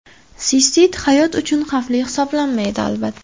Sistit hayot uchun xavfli hisoblanmaydi, albatta.